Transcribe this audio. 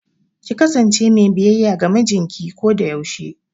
Ki kasance me biyayya ga mijinki kodayaushe!